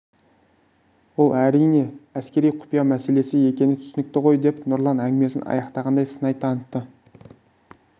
ол әрине әскери құпия мәселесі екені түсінікті ғой деп нұрлан әңгімесін аяқтағандай сыңай танытты